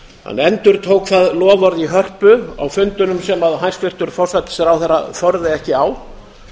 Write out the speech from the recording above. hann endurtók það loforð í hörpu á fundunum sem hæstvirtur forsætisráðherra þorði ekki á